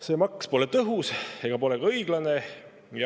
See maks pole tõhus ega pole ka õiglane.